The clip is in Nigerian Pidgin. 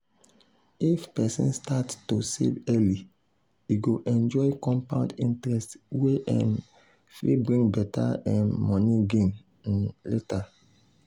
if person start to save early e go enjoy compound interest wey um fit bring better um money gain um later.